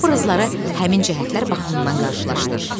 Obrazları həmin cəhətlər baxımından qarşılaşdır.